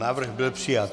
Návrh byl přijat.